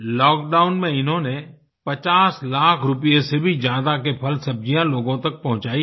lock down में इन्होंने 50 लाख रुपये से भी ज्यादा के फलसब्जियाँ लोगों तक पहुँचाई हैं